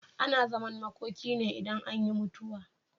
Ana zaman makoki idan an yi mutuwa.